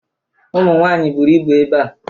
Ụmụnwaanyị buru ibu ebea.